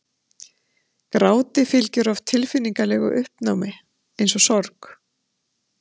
gráti fylgir oft tilfinningalegu uppnámi eins og sorg